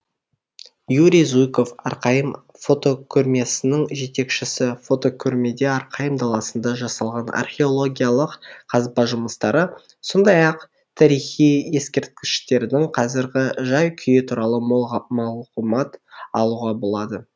юрий зуйков арқайым фотокөрмесінің жетекшісі фотокөрмеде арқайым даласында жасалған археологиялық қазба жұмыстары сондай ақ тарихи ескерткіштердің қазіргі жай күйі туралы мол мағлұмат алуға болады